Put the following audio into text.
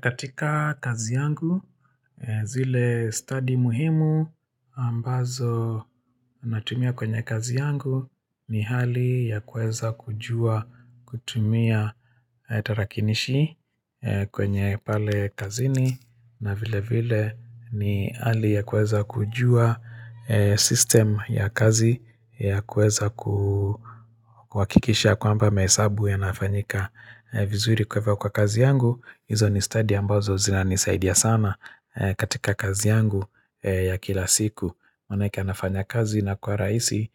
Katika kazi yangu zile study muhimu ambazo natumia kwenye kazi yangu ni hali ya kuweza kujua kutumia tarakilishi kwenye pale kazini na vile vile ni hali ya kuweza kujua system ya kazi ya kuweza kuhakikisha kwamba mahesabu yanafanyika vizuri kwa hivo kwa kazi yangu Izo ni study ambazo zina nisaidia sana katika kazi yangu ya kila siku Manake yanafanya kazi inakuwa rahisi